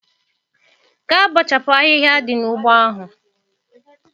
Gaa bọchapụ ahịhịa dị n'ugbo ahụ!